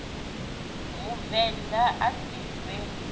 muvend a a si pfe